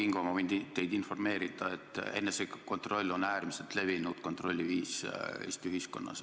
Proua Kingo, ma võin teid informeerida, et enesekontroll on äärmiselt levinud kontrolli viis Eesti ühiskonnas.